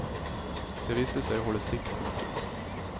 Det viste seg å holde stikk. punktum